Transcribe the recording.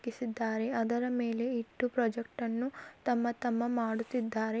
ಕಿಸಿದ್ದಾರೆ ಅದರ ಮೇಲೆ ಇಟ್ಟು ಪ್ರೊಜೆಕ್ಟ್ ಅನ್ನು ತಮ್ಮ ತಮ್ಮ ಮಾಡುತ್ತಿದ್ದಾರೆ.